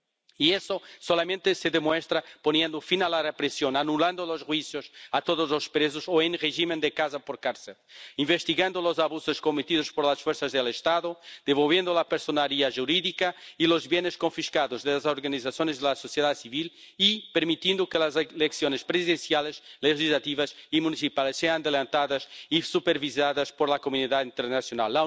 Y eso solamente se demuestra poniendo fin a la represión, anulando los juicios a todos los que están presos o en régimen de casa por cárcel, investigando los abusos cometidos por las fuerzas del Estado, devolviendo la personalidad jurídica y los bienes confiscados de las organizaciones de la sociedad civil y permitiendo que las elecciones presidenciales, legislativas y municipales sean adelantadas y supervisadas por la comunidad internacional.